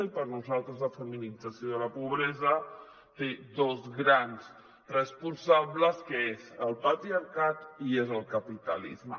i per nosaltres la feminització de la pobresa té dos grans responsables que són el patriarcat i el capitalisme